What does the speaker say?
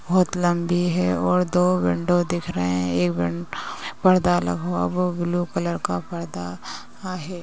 बहोत लम्बी है और दो विंडो दिख रहे हैं। एक विंडो में पर्दा लगा हुआ है। वो ब्लू कलर का पर्दा है।